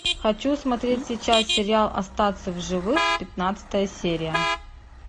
хочу смотреть сейчас сериал остаться в живых пятнадцатая серия